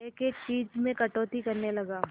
एक एक चीज में कटौती करने लगा